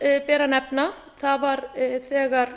annað ber að nefna var þegar